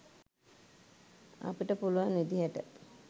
අපිට පුළුවන් විදිහට